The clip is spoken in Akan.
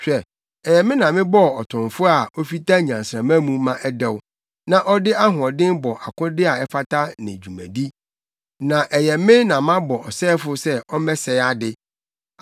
“Hwɛ, ɛyɛ me na mebɔɔ ɔtomfo a ofita nnyansramma mu ma ɛdɛw na ɔde ahoɔden bɔ akode a ɛfata ne dwumadi. Na ɛyɛ me na mabɔ ɔsɛefo sɛ ɔmmɛsɛe ade;